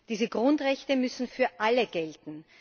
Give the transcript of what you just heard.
Diese Grundrechte müssen für alle gelten.